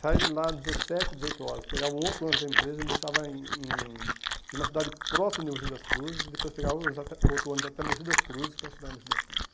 Sai de lá às dezessete, dezoito horas, pegava um outro ônibus da empresa e me deixava em em uma cidade próxima de Mogi das Cruzes e depois pegava outro ônibus até Mogi das Cruzes para estudar em Mogi das Cruzes.